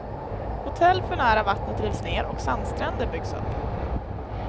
Hotell för nära vattnet rivs ner och sandstränder byggs upp.